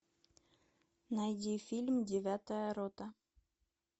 найди фильм девятая рота